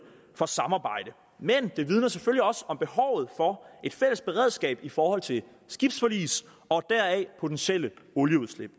for samarbejde men det vidner selvfølgelig også om behovet for et fælles beredskab i forhold til skibsforlis og potentielle olieudslip